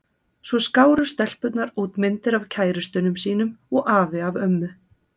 Svo skáru stelpurnar út myndir af kærustunum sínum og afi af ömmu.